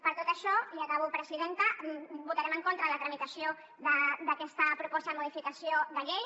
per tot això i acabo presidenta votarem en contra la tramitació d’aquesta proposta de modificació de llei